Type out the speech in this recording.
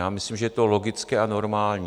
Já myslím, že je to logické a normální.